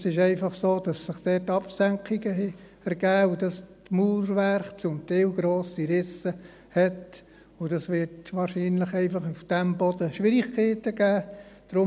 Es ist einfach so, dass sich dort Absenkungen ergeben haben und dass das Mauerwerk zum Teil grosse Risse hat, und wahrscheinlich wird es auf diesem Boden einfach Schwierigkeiten geben.